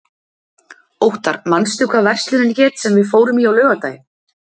Óttar, manstu hvað verslunin hét sem við fórum í á laugardaginn?